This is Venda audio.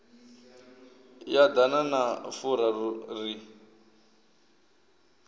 ya ḓana na furaru ri